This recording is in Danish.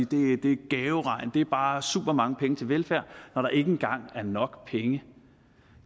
det er en gaveregn at det bare er supermange penge til velfærd når der ikke engang er nok penge